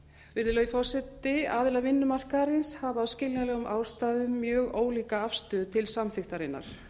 virðulegi forseti aðilar vinnumarkaðarins hafa af skiljanlegum ástæðum mjög ólíka afstöðu til samþykktarinnar